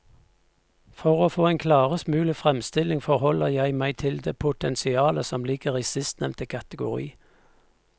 For å få en klarest mulig fremstilling forholder jeg meg til det potensialet som ligger i sistnevnte kategori.